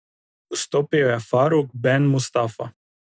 Vstopil je Faruk Ben Mustafa.